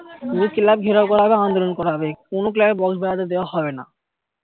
পুরো club ঘেরাও করা হবে আন্দোলন করা হবে কোনো club এ box বাজাতে দেওয়া হবে না